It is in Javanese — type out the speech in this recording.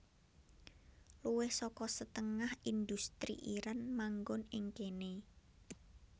Luwih saka setengah indhustri Iran manggon ing kéné